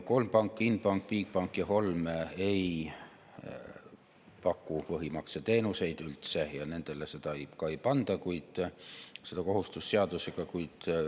Kolm panka – Inbank, Bigbank ja Holm – ei paku põhimakseteenuseid üldse ja nendele seda kohustust seadusega ei panda.